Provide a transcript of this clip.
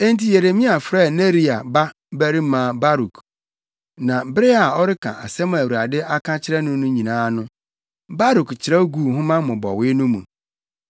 Enti Yeremia frɛɛ Neria babarima Baruk, na bere a ɔreka nsɛm a Awurade aka akyerɛ no nyinaa no, Baruk kyerɛw guu nhoma mmobɔwee no mu.